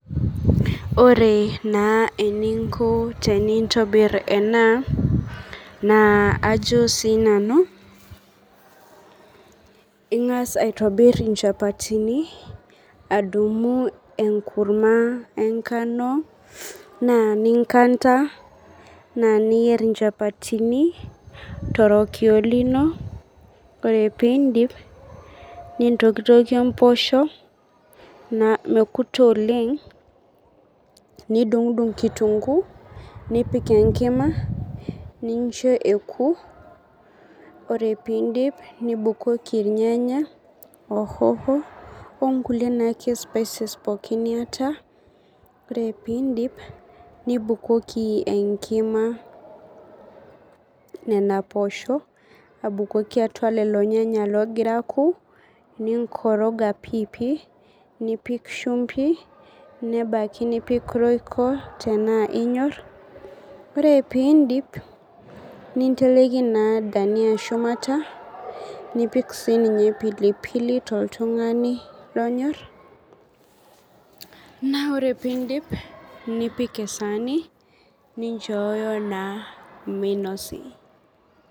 Ore naa eniinko tenintobirr enaa, naa ajo sii nanu ingas aitobir inchapatini, adumu enkurumwa engano naa ninkanta, naa niyeer inchapatini to rokio lino, kore piindip nintokitokie imposho nekutu oleng, nidung'dung' inkitunguu, nipik enkima, nincho ekuu, ore piindip nibukoki ilnyanya ohoho, onkule naake spices pooki nieta, ore piindip nibukoki enkim nena poshoo, abukoki atua lelo ilnyenya loogira aaku, ninkoroga piipii, nipik shumbi, nipiki roiko tenaa inyott, ore piindip, ninteleki naa dania shumata, nipik sii ninye pilipili to ltungani lonyorr, naa ore piindip, nipik saani ninchooyo naa meinosi.